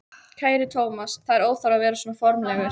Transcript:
Kæri Thomas, það er óþarfi að vera svona formlegur.